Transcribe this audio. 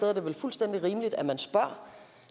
er det vel fuldstændig rimeligt at man spørger